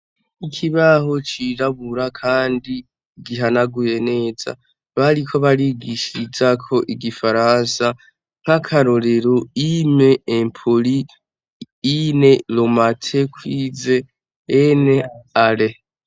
Iki baho cirabura, kandi gihanaguye neza bariko barigishar izako igifaransa nk'akarorero ime empoli ine lomate kwize ene ale.